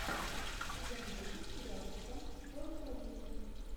сезон восемь сериальчика формула жизни